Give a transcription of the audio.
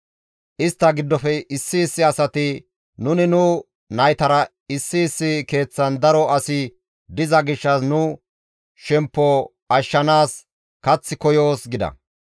Istta giddofe issi issi asati, «Nuni nu naytara issi issi keeththan daro asi diza gishshas nu shemppo ashshanaas kath koyoos» gida.